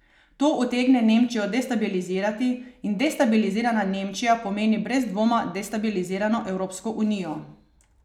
To utegne Nemčijo destabilizirati in destabilizirana Nemčija pomeni brez dvoma destabilizirano Evropsko unijo.